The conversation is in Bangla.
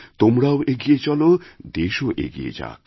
তোমরাও এগিয়ে চল দেশও এগিয়ে যাক